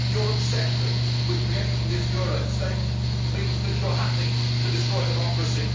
Your obsession with creating this euro state means that you are happy to destroy democracy.